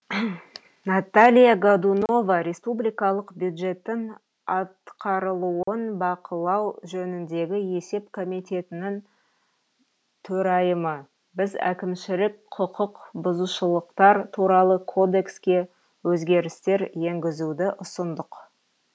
наталья годунова республикалық бюджеттің атқарылуын бақылау жөніндегі есеп комитетінің төрайымы біз әкімшілік құқық бұзушылықтар туралы кодекске өзгерістер енгізуді ұсындық